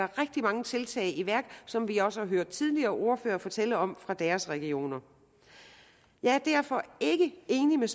rigtig mange tiltag i værk som vi også har hørt tidligere ordførere fortælle om fra deres regioner jeg er derfor ikke enig med